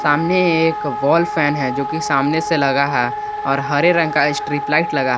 सामने एक wall fan है जो कि सामने से लगा है और हरे रंग का स्ट्रिप लाइट लगा है।